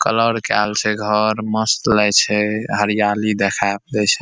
Colour केएल छै घर मस्त लागए छै हरयाली देखाब दे छै।